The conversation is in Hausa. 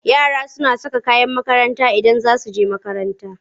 Yara suna saka kayan makaranta Idan za su je makaranta.